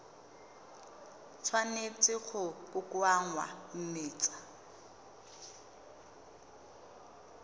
tshwanetse go kokoanngwa mme tsa